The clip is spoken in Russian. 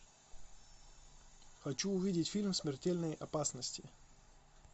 хочу увидеть фильм смертельные опасности